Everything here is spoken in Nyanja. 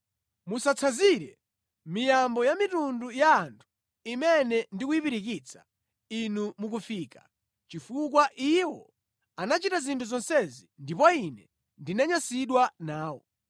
Musatsanzire miyambo ya mitundu ya anthu imene ndi kuyipirikitsa inu mukufika. Chifukwa iwo anachita zinthu zonsezi, ndipo Ine ndinanyansidwa nawo.